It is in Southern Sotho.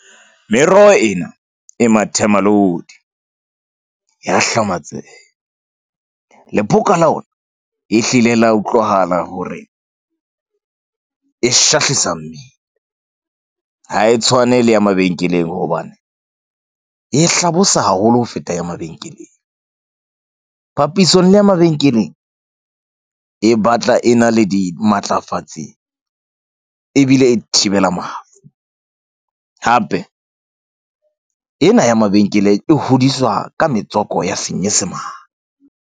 Meroho ena e mathemalodi, ya hlamatseha lephoka la ona e hlile la utlwahala hore e shahlisa mmele. Ha e tshwane le ya mabenkeleng hobane e hlabosa haholo ho feta ya mabenkeleng. Papisong le ya mabenkeleng e batla e na le dimatlafatsi ebile e thibela mafu. Hape ena ya mabenkeleng e hodiswa ka metswako ya senyesemane.